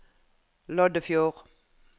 Loddefjord